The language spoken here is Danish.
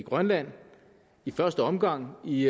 grønland i første omgang i